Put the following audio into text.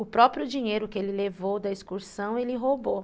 O próprio dinheiro que ele levou da excursão ele roubou.